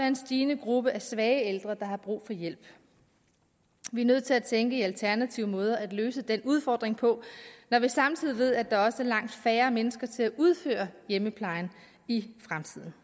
en stigende gruppe af svage ældre der har brug for hjælp vi er nødt til at tænke i alternative måder at løse den udfordring på når vi samtidig ved at der også er langt færre mennesker til at udføre hjemmeplejen i fremtiden